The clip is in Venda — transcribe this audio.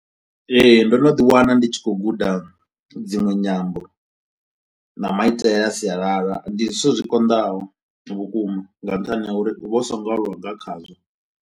Ee ndo no ḓi wana ndi tshi khou guda dzinwe nyambo na maitele a sialala ndi zwithu zwi konḓaho vhukuma nga nṱhani ha uri u vha u so ngo aluwa nga khazwo.